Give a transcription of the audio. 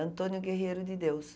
Antônio Guerreiro de Deus.